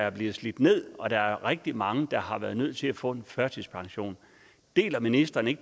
er blevet slidt ned og der er rigtig mange der har været nødt til at få en førtidspension deler ministeren ikke